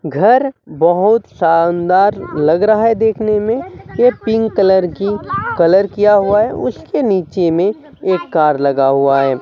घर बहुत शानदार लग रहा है देखने में के पिंक कलर की कलर किया हुआ है उसके नीचे में एक कार लगा हुआ है।